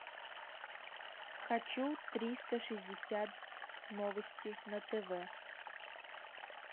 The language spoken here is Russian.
хочу триста шестьдесят новости на тв